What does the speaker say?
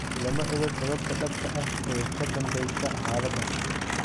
Lama oga sababta dhabta ah ee ka danbeysa xaaladan.